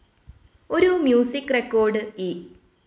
ഒരു music record E.